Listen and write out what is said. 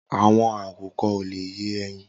Awọn àkúkọ̀ ò lé yè ẹyin